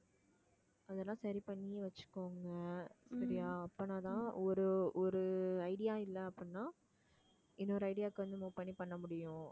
அதெல்லாம் சரி பண்ணியே வச்சுக்கோங்க சரியா அப்பனாதான் ஒரு ஒரு idea இல்ல அப்படின்னா இன்னொரு idea க்கு வந்து move பண்ணி பண்ண முடியும்